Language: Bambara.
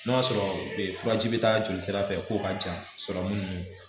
N'o y'a sɔrɔ furaji bɛ taa joli sira fɛ k'o ka ja